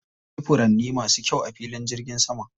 Akwai furanni masu kyau a filin jirgin saman.